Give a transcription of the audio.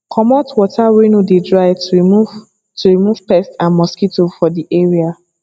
comot water wey no de dry to remove to remove pests and mosquito for di area